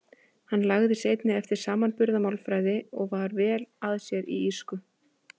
Hann lagði sig einnig eftir samanburðarmálfræði og var vel að sér í írsku.